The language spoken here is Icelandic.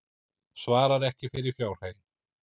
Svarar ekki fyrir fjárhaginn